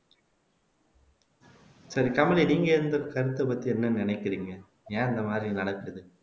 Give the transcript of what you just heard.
சரி கமலி நீங்க இந்த கருத்தை பத்தி என்ன நினைக்கிறீங்க ஏன் இந்த மாதிரி நடக்குது